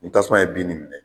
Ni tasuma ye bin nin minɛ